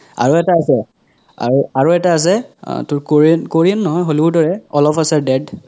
আৰু এটা আছে আৰু আৰু এটা আছে অহ তোৰ korean korean নহয় hollywood ৰে all of us are dead